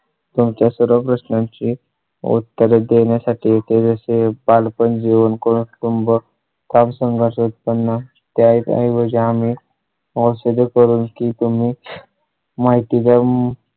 तुमच्या सर्व प्रश्नांची उत्तरे देण्यासाठी ते असे पालक पण घेऊन कुटुंबं काम संघास उत्पन्न त्या ऐवजी आम्ही होतो करून की तुम्ही माहिती जम